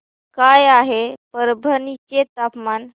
काय आहे परभणी चे तापमान